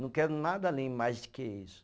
Não quero nada além mais de que isso.